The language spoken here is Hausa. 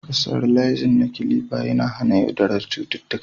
Sterilizing na kilifa yana hana yaduwar cututtuka